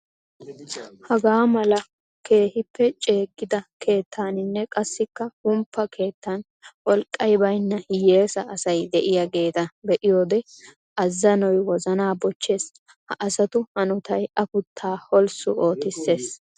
Hagaa mala keehippe ceegidda keettaninne qassikka humppa keettan wolqqay baynna hiyessa asay de'iyagetta be'iyoode azanoy wozana bochchees. Ha asatu hanotay afuttaa holssu ootissees.